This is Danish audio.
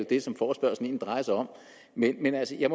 det som forespørgslen egentlig drejer sig om men altså jeg